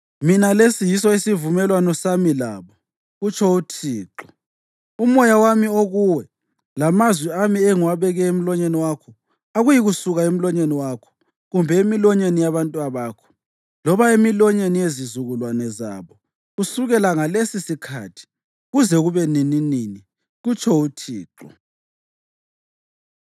“Mina lesi yiso isivumelwano sami labo,” kutsho uThixo. “Umoya wami okuwe, lamazwi ami engiwabeke emlonyeni wakho akuyikusuka emlonyeni wakho, kumbe emilonyeni yabantwabakho, loba emilonyeni yezizukulwane zabo kusukela ngalesisikhathi kuze kube nininini,” kutsho uThixo.